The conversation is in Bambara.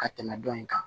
Ka tɛmɛ dɔ in kan